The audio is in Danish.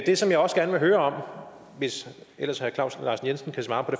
det som jeg også gerne vil høre om hvis ellers herre claus larsen jensen kan svare på